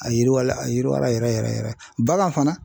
A yiriwala a yiriwala yɛrɛ yɛrɛ yɛrɛ yɛrɛ bagan fana